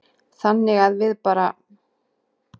Þannig að við bara.